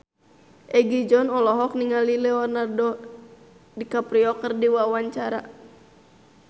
Egi John olohok ningali Leonardo DiCaprio keur diwawancara